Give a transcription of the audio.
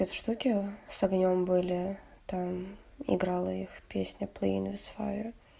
эти штуки с огнём были там играла их песня плей виз фаер